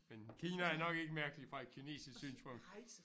Men Kina er nok ikke mærkeligt fra et kinesisk synspunkt